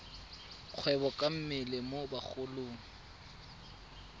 kgwebo ka mmele mo bagolong